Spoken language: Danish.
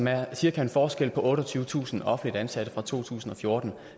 er cirka en forskel på otteogtyvetusind offentligt ansatte fra to tusind og fjorten